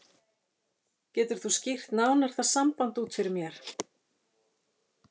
Getur þú skýrt nánar það samband út fyrir mér?